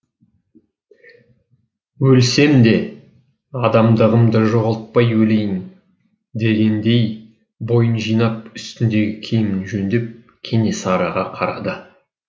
өлсем де адамдығымды жоғалтпай өлейін дегендей бойын жинап үстіндегі киімін жөндеп кенесарыға қарады